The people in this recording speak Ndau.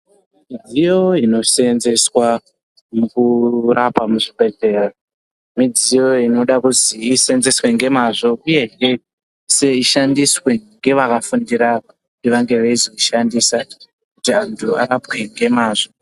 Midziyo inoseenzeswa mukurapa muzvibhedhleya midziyo inoda kuzi iseenzeswe ngemazvo uyehe ishandiswe ngevakafundira kuti vange veizoishandisa kuti vantu varapwe ngemazvo.